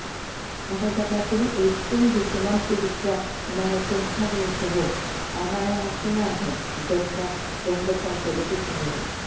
അവതരണത്തിന് ഏറ്റവും വിഷമം പിടിച്ച നരസിംഹവേഷവും അനായാസേനയാണ് ഗംഗ രംഗത്ത് അവതരിപ്പിക്കുന്നത്